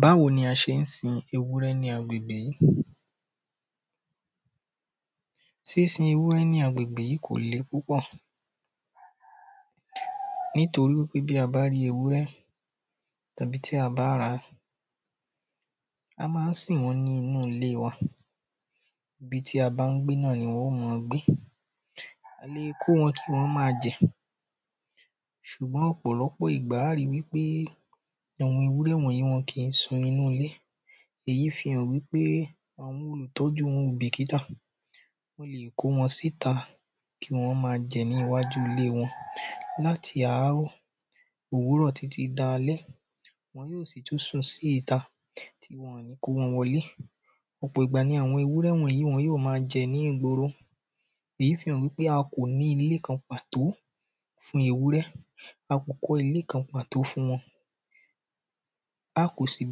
Báwo ni a ṣe ń sin ewúrẹ́ ní agbègbè yí. Sísin ewúrẹ́ ní agbègbè yí kò le púpọ̀. Nítorí wípé bí a bá rí ewúrẹ́ tàbí tí a bá rà á, a má ń sìn wọ́n nínú ilé wa. Ibi tí a bá ń gbé náà ni wọn ó man gbé. A le kó wọn kí wọ́n má a jẹ̀. Sùgbọ́n ọ̀pọ̀lọ́pọ̀ ìgbà a rí wípé ìwun ewúrẹ́ wọ̀yí wọn kìí sun inú ilé. Èyí fi hàn wípé àwọn olùtọ́jú wọn wọn ò bìkítà. Wọ́n leè kó wọn síta kí wọ́n má a jẹ ní iwájú ilé wọn láti àárọ̀ òwúrọ̀ títí di alẹ́. Wọn yó sì tún sùn sí ìta rí wọn ò ní kó wọn wọlé. Ò̩pọ̀ ìgbà ni àwọn ewúrẹ́ wọ̀nyí wọn yóò ma jẹ̀ ní ìgboro. Èyí fi hàn wípé a kò ní ilé kan pàtó fún ewúrẹ́. A kò kọ́ ilé kan pàtó fún wọn. A kò sì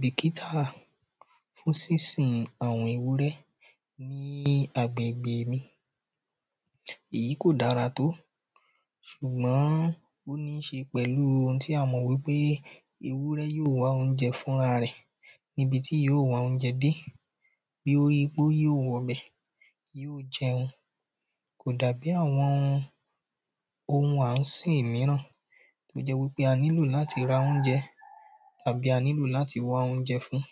bìkítà fún sínsìn àwọn ewúrẹ́ ní agbègbè mi. Èyí kò dára tó. S̩ùgbọ́n ó ní ṣe pẹ̀lu ohun tí a ti mọ̀ wípé ewúrẹ́ yó wá oúnje̩ fúnra rẹ̀ níbi tí yóò wá oúnjẹ dé. Kò dà bí àwọn ohun à ń sìn míràn tó jẹ́ wípé a nílò láti ra oúnjẹ tàbí a nílò láti wá óújẹ fún.